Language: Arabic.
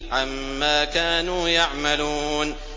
عَمَّا كَانُوا يَعْمَلُونَ